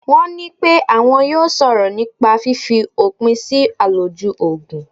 Wọ́n ní pẹ́ wọn yóò sọ̀rọ̀ nípa fífi òpin sí àlòjù Ògùn.